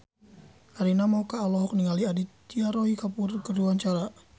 Arina Mocca olohok ningali Aditya Roy Kapoor keur diwawancara